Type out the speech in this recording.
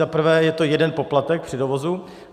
Za prvé, je to jeden poplatek při dovozu.